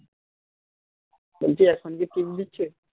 বলছি এখন কি team দিচ্ছে